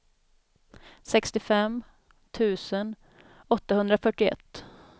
sextiofem tusen åttahundrafyrtioett